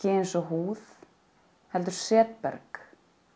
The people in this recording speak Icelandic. eins og húð heldur setberg